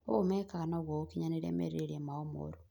ũũ mekaga nĩguo gũkinyanĩria merirĩria mao moru